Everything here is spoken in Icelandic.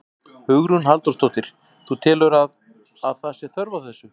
Hugrún Halldórsdóttir: Þú telur að, að það sé þörf á þessu?